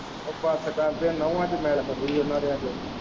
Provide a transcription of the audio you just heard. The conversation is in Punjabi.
ਉਹ ਬਸ ਕਰ ਜੇ ਨਹੁੰਆਂ ਦੇ ਮੈਲ ਉਹਨਾਂ ਦਿਆਂ ਤੇ।